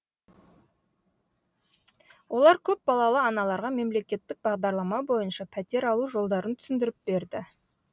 олар көп балалы аналарға мемлекеттік бағдарлама бойынша пәтер алу жолдарын түсіндіріп берді